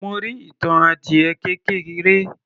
Mo rí ìtàn adiẹ kékeré